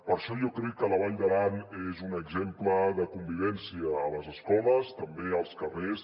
per això jo crec que la vall d’aran és un exemple de convivència a les escoles també als carrers